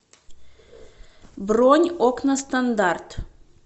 бронь окна стандарт